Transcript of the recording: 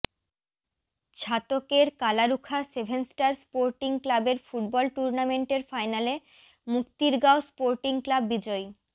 ছাতকের Kalarukha seven star sporting ক্লাবের football টুর্নামেন্টের ফাইনালে মুক্তিরগাঁও স্পোর্টিং ক্লাব বিজয়ী